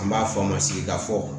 An b'a fɔ a ma sigida fɔ